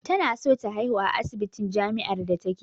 Tana so ta haihu a asibitin jamiár da take